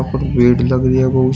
और भीड़ लग रही है बहुत --